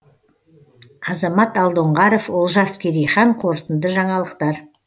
азамат алдоңғаров олжас керейхан қорытынды жаңалықтар